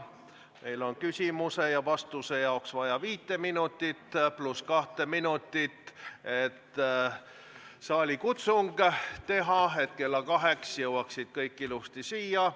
Meil on küsimuse ja vastuse jaoks vaja viit minutit pluss kahte minutit, et saalikutsung teha, selleks et kella kaheks kõik ilusasti siia jõuaksid.